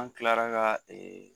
An kilara ka ee